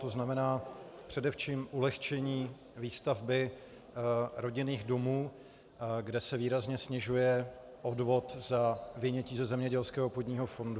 To znamená především ulehčení výstavby rodinných domů, kde se výrazně snižuje odvod za vynětí ze zemědělského půdního fondu.